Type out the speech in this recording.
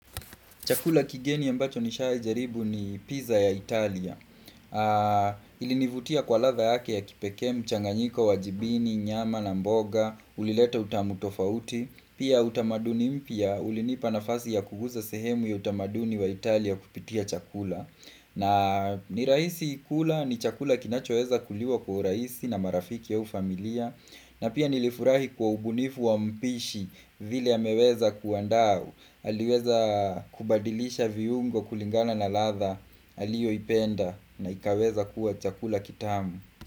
Chakula kigeni ya ambacho nishai jaribu ni pizza ya Italia. Ilinivutia kwa latha yake ya kipeke mchanganyiko wa jibini, nyama na mboga, ulileta utamutofauti. Pia utamaduni mpia, ulinipa nafasi ya kuguza sehemu ya utamaduni wa Italia kupitia chakula. Na ni raisi kula, ni chakula kinachoeza kuliwa kwa raisi na marafiki au familia. Na pia nilifurahi kwa ubunifu wa mpishi vile ameweza kuandaa. Aliweza kubadilisha viungo kulingana na latha aliyo ipenda na ikaweza kuwa chakula kitamu.